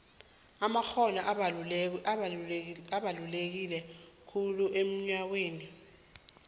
amakgono abaluleke khulu emnoyhweni wenarha